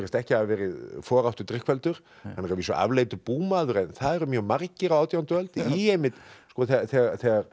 ekki hafa verið foráttu drykkfelldur hann er að vísu afleitur búmaður en það eru mjög margir á átjándu öld þegar